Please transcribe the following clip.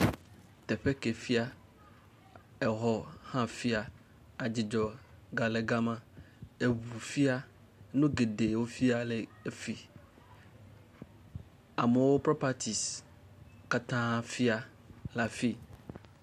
Teƒe ke fia, xɔ hã fia, adzidzɔ gale gema, eŋu fia, nu geɖe efia le fi. Amewo propatisi wotã fia le afi.